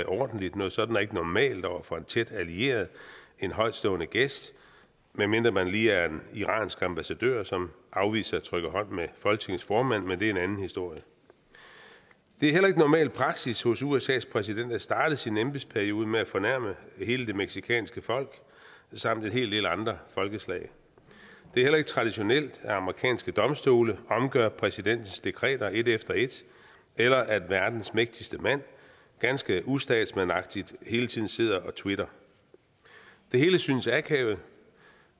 ordentligt noget sådant er ikke normalt at gøre over for en tæt allieret en højtstående gæst medmindre man lige er en iransk ambassadør som afviser at trykke hånd med folketingets formand men det er en anden historie det er heller ikke normal praksis hos usas præsident at starte sin embedsperiode med at fornærme hele det mexicanske folk samt en hel del andre folkeslag det er heller ikke traditionelt at amerikanske domstole omgør præsidentens dekreter et efter et eller at verdens mægtigste mand ganske ustatsmandsagtigt hele tiden sidder og twitter det hele synes akavet